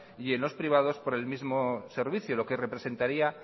y en los privados por el mismo servicio lo que representaría